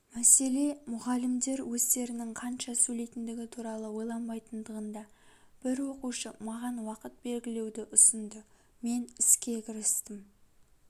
мәселе мұғалімдер өздерінің қанша сөйлейтіндігі туралы ойланбайтындығында бір оқушы маған уақыт белгілеуді ұсынды мен іске кірістім